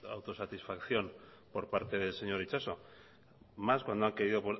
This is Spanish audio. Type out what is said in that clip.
la autosatisfacción por parte del señor itxaso más cuando